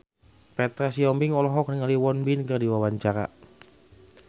Petra Sihombing olohok ningali Won Bin keur diwawancara